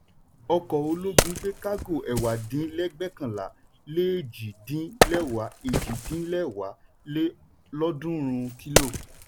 ọkọ̀ ológun gbé kágò ẹ̀wà dín lẹ́gbẹ̀kànlá lé èjì dín lẹ́wà èjì dín lẹ́wà lé lọ́ọ̀dúnrún kílò.